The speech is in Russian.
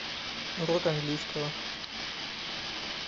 урок английского